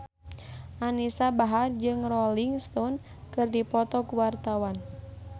Anisa Bahar jeung Rolling Stone keur dipoto ku wartawan